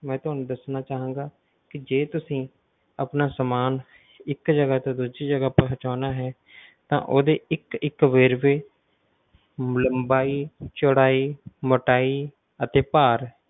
ਮੈਂ ਤੁਹਾਨੂੰ ਦੱਸਣਾ ਚਾਹਂਗਾ ਕਿ ਜੇ ਤੁਸੀਂ ਆਪਣਾ ਸਮਾਨ ਇਕ ਜਗਾ ਤੋਂ ਦੂਜੀ ਜਗਾ ਪਹੁੰਚਾਉਣਾ ਹੈ ਤਾਂ ਉਹਦੇ ਇੱਕ ਇੱਕ ਵੇਰਵੇ ਲੰਬਾਈ ਚੌੜਾਈ ਮੋਟਾਈ ਅਤੇ ਭਾਰ,